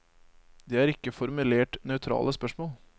Det er ikke formulert nøytrale spørsmål.